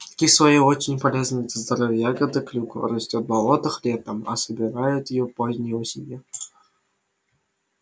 кислая и очень полезная для здоровья ягода клюква растёт в болотах летом а собирают её поздней осенью